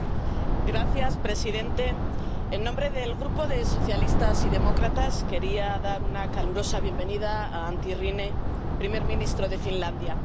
Señor presidente, en nombre del Grupo de Socialistas y Demócratas quería dar una calurosa bienvenida a Antti Rinne, primer ministro de Finlandia.